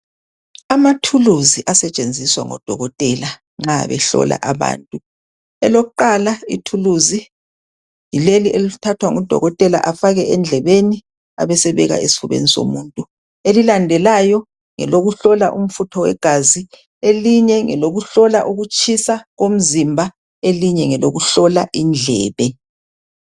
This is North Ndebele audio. Amathuluzi asetshenziswa ngodokotela nxa behlola abantu. Elokuqala ithuluzi yileli elithathwa ngudokotela afake endlebeni abesebeka esifubeni somuntu. Elilandelayo ngelokuhlola umfutho wegazi, elinye ngelokuhlola ukutshisa umzimba, elinye ngelokuhlola indlebe.